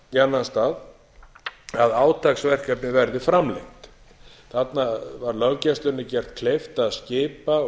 í annan stað að átaksverkefni verði framlengt þarna var löggæslunni gert kleift að skipa og